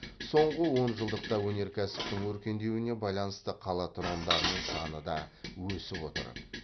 соңғы онжылдықта өнеркәсіптің өркендеуіне байланысты қала тұрғындарының саны да өсіп отыр